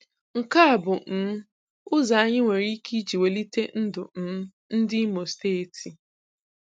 Nke a bụ um ụzọ anyị nwere ike iji welite ndụ um ndị Imo Steeti.